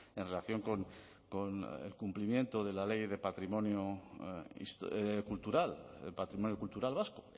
en relación con el cumplimiento de la ley de patrimonio cultural del patrimonio cultural vasco